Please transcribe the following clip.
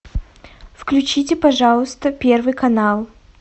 включите пожалуйста первый канал